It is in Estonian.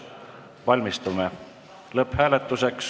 Valmistume lõpphääletuseks.